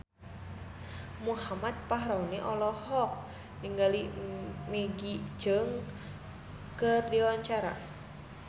Muhammad Fachroni olohok ningali Maggie Cheung keur diwawancara